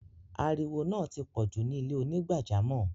Áríwọ náà ti pọ̀ ju ni ilẹ̀-onígbàjàmọ́.